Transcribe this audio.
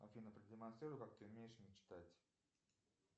афина продемонстрируй как ты умеешь мечтать